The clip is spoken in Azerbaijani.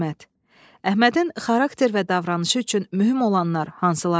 Əhmədin xarakter və davranışı üçün mühüm olanlar hansılardır?